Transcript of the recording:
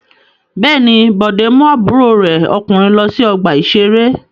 Bẹ́ẹ̀ ni, Bọ̀dé mú àbúrò rẹ̀ ọkùnrin lọ sí ọgbà-ìṣeré.